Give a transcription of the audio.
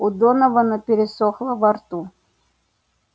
у донована пересохло во рту